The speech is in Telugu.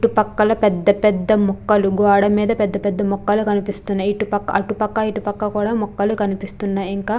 చుట్టూ పక్కల ముక్కలు పెద్ద పెద్ద ముక్కలు కనిపిస్థున్ని. అటుపక్క ఇటుపక్క కూడా ముక్కలు కనిపిస్తున్నాయి .